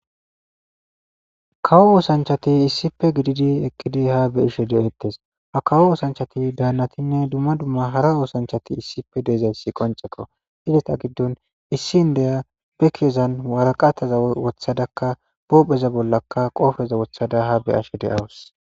Kawo oosanchati issife gididi eqqidi haa be ishe de7ettes a kawo oosanchati daannatinne dumma dumma hara oosanchati issife deezayssi qoncekko ideta giddon issi n deya be keezan waraqataza wothadakka boobeza bollaka qoofeza wothada ha be ashe de7awus.